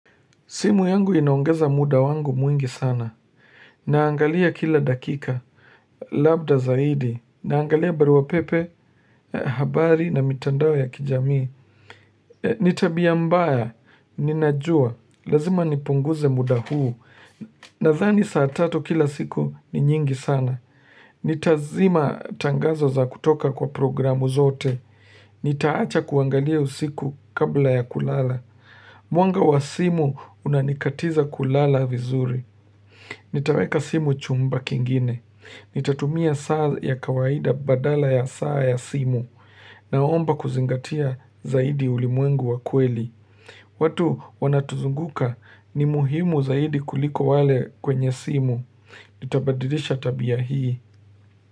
Simu yangu inaongeza muda wangu mwingi sana. Naangalia kila dakika, labda zaidi. Naangalia baruapepe, habari na mitandao ya kijamii. Nitabia mbaya, ninajua, lazima nipunguze muda huu. Nazani saatatu kila siku ni nyingi sana. Nitazima tangazo za kutoka kwa programu zote. Nitaacha kuangalia usiku kabla ya kulala. Mwanga wa simu unanikatiza kulala vizuri Nitaweka simu chumba kingine Nitatumia saa ya kawaida badala ya saa ya simu Naomba kuzingatia zaidi ulimwengu wa kweli watu wanatuzunguka ni muhimu zaidi kuliko wale kwenye simu Nitabadilisha tabia hii.